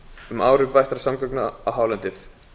um áhrif bættra samgangna á hálendið